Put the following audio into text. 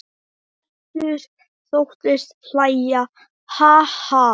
Össur þóttist hlæja: Ha ha.